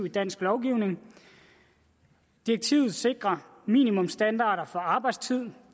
i dansk lovgivning direktivet sikrer minimumsstandarder for arbejdstiden